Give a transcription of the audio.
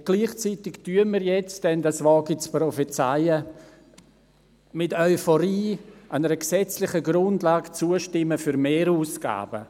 Und gleichzeitig werden wir nun – das wage ich zu prophezeien – mit Euphorie einer gesetzlichen Grundlage zustimmen für Mehrausgaben.